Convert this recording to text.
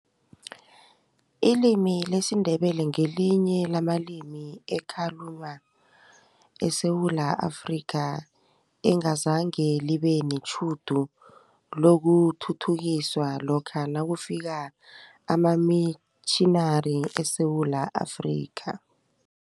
Ilimi lesiNdebele ngelinye lamalimi ekhalunywa eSewula Afrika, engazange libe netjhudu lokuthuthukiswa lokha nakufika amamitjhinari eSewula Afrika.